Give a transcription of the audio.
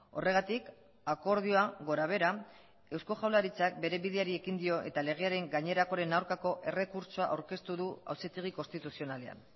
horregatik akordioa gorabehera eusko jaurlaritzak bere bideari ekin dio eta legearen gainerakoaren aurkako errekurtsoa aurkeztu du auzitegi konstituzionalean